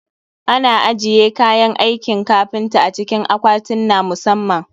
Ana ajiye kayan aikin kafinta a cikin akwatinna musamman